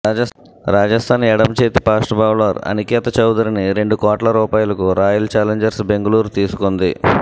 రాజస్థాన్ ఎడమచేతివాటం fast bowler Aniket చౌదరిని రెండు కోట్ల రూపాయలకు రాయల్ చాలెంజర్స్ బెంగళూరు తీసుకుంది